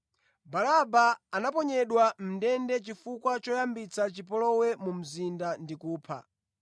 (Baraba anaponyedwa mʼndende chifukwa choyambitsa chipolowe mu mzinda ndi kupha).